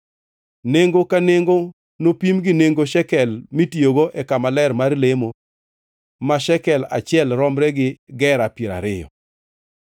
Nengo ka nengo nopim gi nengo shekel mitiyogo e kama ler mar lemo ma shekel achiel romre gi gera piero ariyo.